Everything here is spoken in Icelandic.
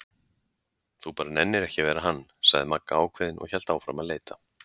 Þú bara nennir ekki að vera hann, sagði Magga ákveðin og hélt áfram að leita.